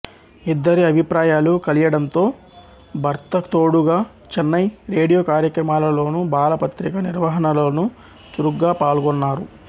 ఇద్దరి అభిప్రాయాలు కలియడంతో భర్తకుతోడుగా చెన్నై రేడియో కార్యక్రమాలలోను బాల పత్రిక నిర్వహణలోను చురుగ్గా పాల్గొన్నారు